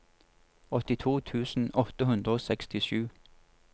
åttito tusen åtte hundre og sekstisju